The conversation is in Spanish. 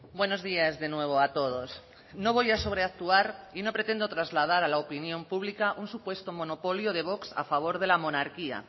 buenos días de nuevo a todos no voy a sobreactuar y no pretendo trasladar a la opinión pública un supuesto monopolio de vox a favor de la monarquía